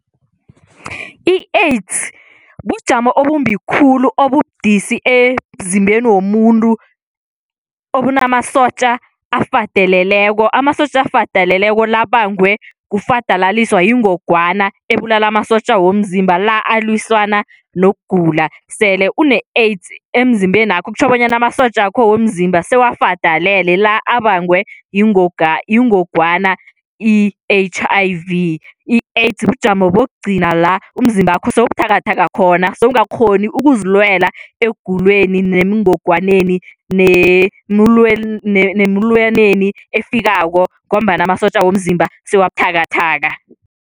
I-AIDS bujamo obumbi khulu obubudisi emzimbeni womuntu obunamasotja afadaleleko. Amasotja afadaleleko la abangwe kufadalaliswa yingogwana, ebulala amasotja womzimba la alwisana nokugula, sele une-AIDS emzimbenakho kutjho bonyana amasotja wakho womzimba sewafadalele, la abangwe yingogwana yingogwana i-H_I_V. I-AIDS bujamo bokugcina la umzimbakho sewubuthakathaka khona, sewungakghoni ukuzilwela ekuguleni, nengogwaneni nemulwaneni efikako ngombana amasotja womzimba sewabuthakathaka.